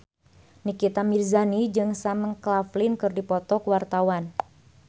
Nikita Mirzani jeung Sam Claflin keur dipoto ku wartawan